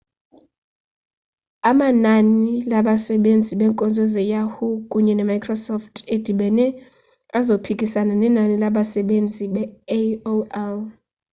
amanani labasebenzisi beenkonzo ze-yahoo kunye ne-microsoft edibene azophikisana nenani labsebenzisi be-aol